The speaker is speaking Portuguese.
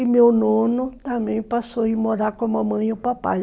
E meu nono também passou a ir morar com a mamãe e o papai.